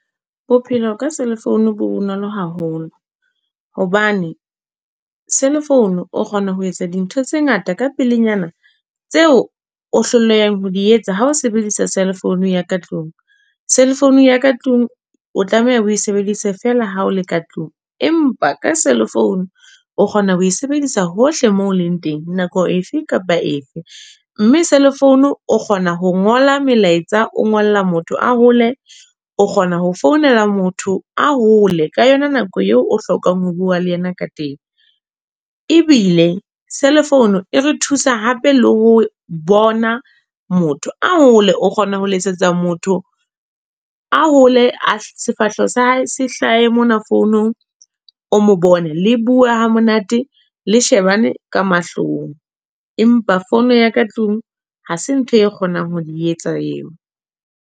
Bophelo ka cell phone bonolo haholo hobane cell phone o kgona ho etsa dintho tse ngata ka pelenyana tseo o hlolehang ho di etsa. Ha o sebedisa cell phone ya ka tlung cell phone ya ka tlung o tlameha ho sebedisa fela ha o le ka tlung. Empa ka cell phone o kgona ho sebedisa hohle mo leng teng nako efe kapa efe mme cellphone o kgona ho ngola melaetsa. O ngolla motho a whole, o kgona ho founela motho a whole ka yona nako eo o hlokang ho bua le yena ka teng ebile cell phone e re thusa hape le ho bona motho a hole, o kgona ho letsetsa motho a whole sefahleho sa hae. Se hlahe mona founong, o mo bone le bua hamonate, le shebane ka mahlong. Empa phone ya ka tlung ha se ntho e kgonang ho di etsa. Eo